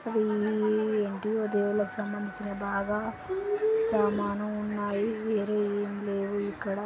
ఇవి ఏంటో దేవుళ్ళకి సంబందించినవి. బాగా సామాను ఉన్నాయి. వేరే ఏమి లేవు ఇక్కడ.